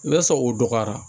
N'a sɔrɔ o dɔgɔyara